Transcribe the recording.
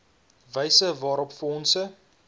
wyse waarop fondse